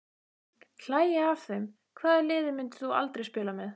Hlægja af þeim Hvaða liði myndir þú aldrei spila með?